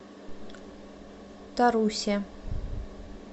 тарусе